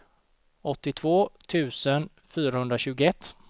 åttiotvå tusen fyrahundratjugoett